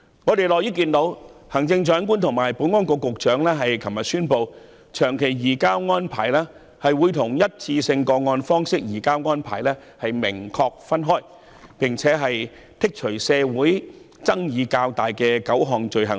我們樂於看到行政長官及保安局局長昨天宣布，長期移交逃犯協定會與單一個案方式移交逃犯的安排明確分開，並剔除社會上爭議得較激烈的9項罪類。